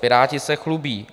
- Piráti se chlubí.